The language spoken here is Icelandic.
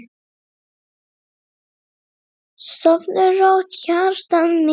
Sofðu rótt, hjartað mitt.